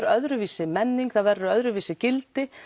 öðruvísi menning það verður öðruvísi gildi